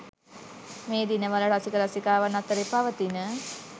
මේ දිනවල රසික රසිකාවන් අතරේ පවතින